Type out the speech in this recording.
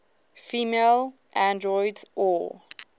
female androids or